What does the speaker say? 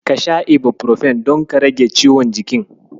Ka sha Ibufirofen don ka rake ciwon jikin?